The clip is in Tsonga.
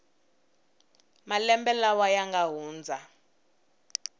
malembe lawa ya nga hundza